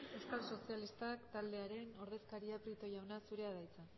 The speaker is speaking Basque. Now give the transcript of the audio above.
euskal sozialistak taldearen ordezkaria prieto jauna zurea da hitza